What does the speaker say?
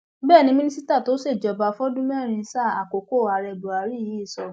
bẹẹ ni mínísítà tó ṣèjọba fọdún mẹrin sáà àkókò ààrẹ buhari yìí sọ